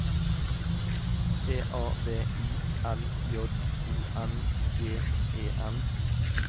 P A V I L J O N G E N